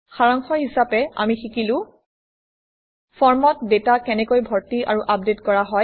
সাৰাংশ হিচাপে আমি শিকিলো ফৰ্মত ডাটা কেনেকৈ ভৰ্তি আৰু আপডেট কৰা হয়